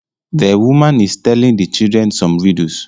The woman is telling the children some riddles